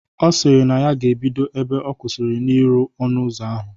Ọ sịrị na ya ga-ebido ebe ọ kwụsịrị n'irụ ọnụ ụzọ ahụ